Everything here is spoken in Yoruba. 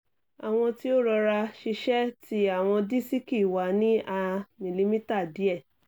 awọn ti o rọra-ṣiṣe ti awọn disiki wa ni a milimita diẹ